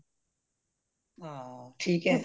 ਹੰ ਠੀਕ ਆ